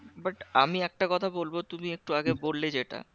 But আমি একটা কথা বলবো তুমি একটু আগে বললে যেটা